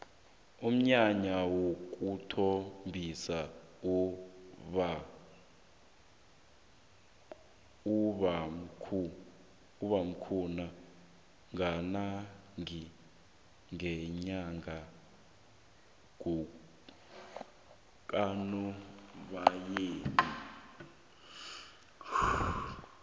umnyanya wokuthombisa uba khona kanengi ngenyanga kanobayeni